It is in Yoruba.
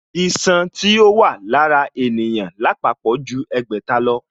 Iṣan tí ó wà lára ènìyàn lápapọ̀ ju ẹgbẹ̀ta lọ